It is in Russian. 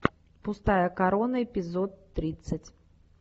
пустая корона эпизод тридцать